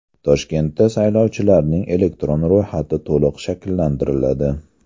Toshkentda saylovchilarning elektron ro‘yxati to‘liq shakllantiriladi.